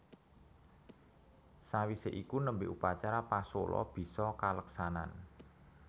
Sawisé iku nembe upacara pasola bisa kaleksanan